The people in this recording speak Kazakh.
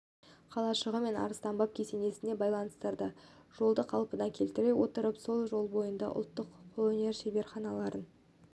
қалашығы мен арыстанбаб кесенесін байланыстырған жолды қалпына келтіре отырып сол жол бойында ұлттық қолөнер шеберханаларын